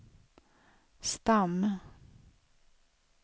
stam